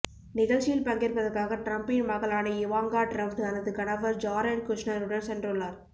நிகழ்ச்சியில் பங்கேற்பதற்காக டிரம்ப்பின் மகளான இவாங்கா டிரம்ப் தனது கணவர் ஜாரெட் குஷ்னெர் உடன் சென்றுள்ளார்